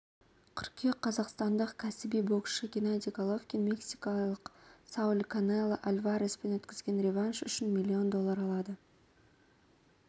қыркүйек қазақстандық кәсіби боксшы геннадий головкин мексикалық сауль канело альвареспен өткізген реванш үшін миллион доллар алады